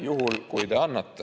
... juhul, kui te annate.